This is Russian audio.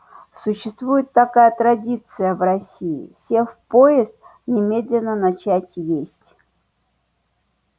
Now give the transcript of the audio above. существует такая традиция в россии сев в поезд немедленно начать есть